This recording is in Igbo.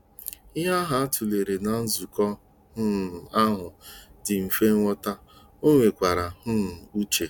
Ihe a tụlere ná nzukọ um ahụ dị mfe nghọta, ọ nwekwara um uche.